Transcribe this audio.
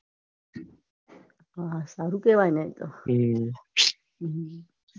હા સારું કેવાય ને એતો. હમ